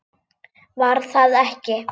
Var það ekki!